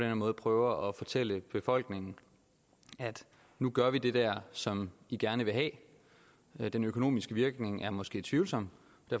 her måde prøver at fortælle befolkningen at nu gør vi det der som de gerne vil have den økonomiske virkning er måske tvivlsom